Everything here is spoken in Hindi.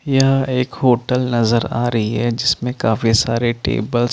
यह एक होटल नज़र आ रही है जिसमे काफी सारी टेबल्स --